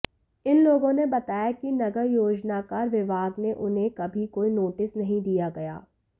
इन लोगों ने बताया कि नगर योजनाकार विभाग से उन्हें कभीकोई नोटिस नहीं दिया गया